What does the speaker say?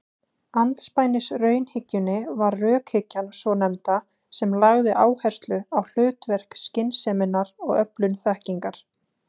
Andspænis raunhyggjunni var rökhyggjan svonefnda sem lagði áherslu á hlutverk skynseminnar í öflun þekkingar.